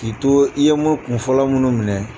K'i to i ye mu kunfɔlɔ minnu minɛ